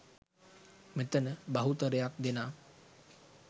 මෙතන බහුතරයක් දෙනා